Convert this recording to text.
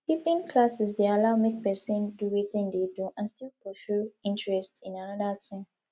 evening classes de allow make persin do wetin in de do and still pursue interest in another thing